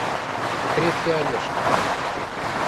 крепкий орешек